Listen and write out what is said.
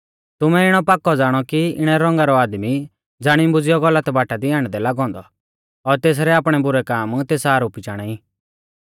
तुमै इणौ पाक्कौ ज़ाणौ कि इणै रौंगा रौ आदमी ज़ाणीबुज़ियौ गलत बाटा दी आण्डदै लागौ औन्दौ और तेसरै आपणै बुरै काम तेस आरोपी चाणा ई